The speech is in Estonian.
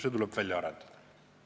See tuleb välja arendada."?